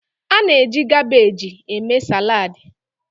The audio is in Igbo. A na-eji kabeeji eme saladi.